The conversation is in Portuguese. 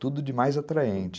Tudo de mais atraente.